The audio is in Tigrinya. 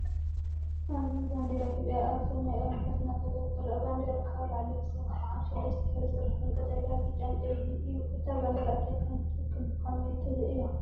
ኣብዚ ባንዴራ ኢትዮጵያ ኣብ ሰማይ ኣብ ንፋስ እናተወዛወዘት ትርአ። ባንዴራ ካብ ላዕሊ ክሳብ ታሕቲ ብሰለስተ ሕብሪ ዝስራሕ ኮይኑ፡ ቀጠልያ፡ ብጫን ቀይሕን እዩ። እታ ባንዴራ እንታይ ከም እትውክል ብኸመይ ትርእዮ?